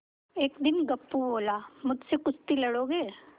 एक दिन गप्पू बोला मुझसे कुश्ती लड़ोगे